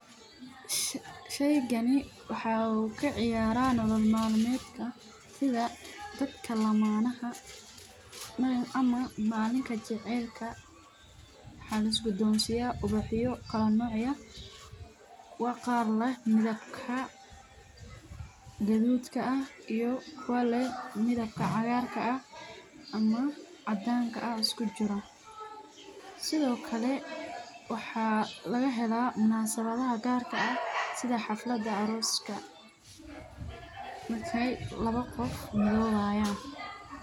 Sheygani waxaa uu kaciyara nolol malmeedka sida dadka lamaanaha ama malinka jaceylka ayaa lis Siya kuwa leh midabka gaduudka waaxa laga helaa xafladaha arooska.